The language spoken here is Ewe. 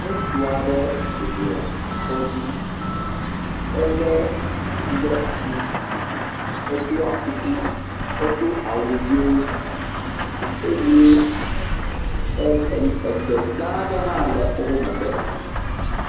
Ŋutsu aɖe bɔblɔ asɔ dzi. Elé ati ɖe asi. Eɖɔ akuku. Edo awu yee. Eye ɛɛ ɛɛ, egbe gãa aɖe hã le woƒo megbe